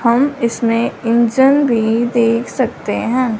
हम इसमें इंजन भी देख सकते हैं।